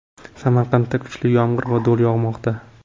Samarqandda kuchli yomg‘ir va do‘l yog‘moqda .